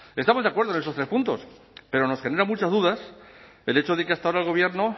estamos de acuerdo en estos tres puntos pero nos genera muchas dudas el hecho de que hasta ahora el gobierno